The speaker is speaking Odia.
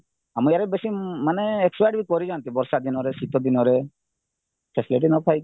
ଆମ ଇଆଡ଼େ ବେଶୀ ମାନେ expired କରିଯାନ୍ତି ବର୍ଷା ଦିନରେ ଶୀତ ଦିନରେ facilityନ ପାଇକି